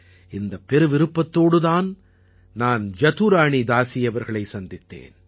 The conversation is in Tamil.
இந்தப் பெருவிருப்பத்தோடு நான் ஜதுரானீதாஸி அவர்களை சந்தித்தேன்